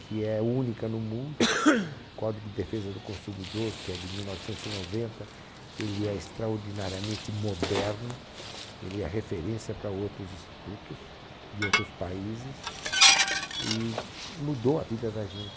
que é única no mundo, o Código de Defesa do Consumidor, que é de mil novecentos e noventa, ele é extraordinariamente moderno, ele é referência para outros institutos de outros países e mudou a vida da gente.